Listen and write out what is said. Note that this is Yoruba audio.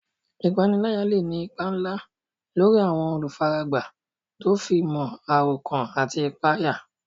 Ìpániláyà lè ní ipa ńlá lórí àwọn olùfaragbá tó fi mọ́ àròkán àti ìpayà.